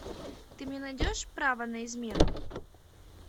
ты мне найдешь право на измену